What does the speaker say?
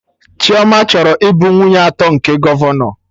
Chioma chọrọ ịbụ nwunye atọ nke gọvanọ